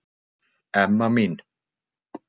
Emma mín.